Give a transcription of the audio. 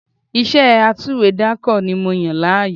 Iṣẹ́ atúwèédàkọ ni mo yàn láàyò